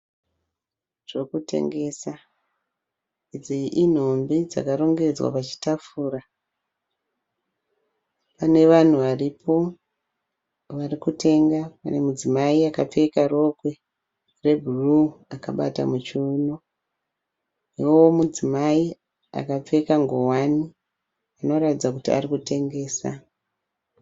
Zvekutengesa. Idzi inhumbi dzakarongedzwa pachitafura. Nevanhu varipo varikutenga. Pane mudzimai akapfeka rokwe rebhuruu akabata muchiuno potitavo mudzimai akapfeka ngowani anoratidza kuti arikutengesa.